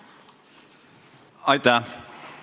Aitäh!